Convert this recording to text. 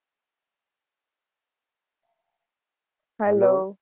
hello